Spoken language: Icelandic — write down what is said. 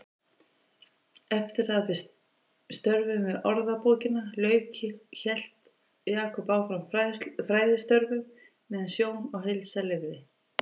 Eftir að störfum við Orðabókina lauk hélt Jakob áfram fræðistörfum meðan sjón og heilsa leyfði.